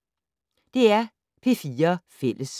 DR P4 Fælles